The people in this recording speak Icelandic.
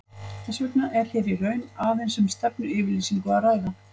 Þess vegna er hér í raun aðeins um stefnuyfirlýsingu að ræða.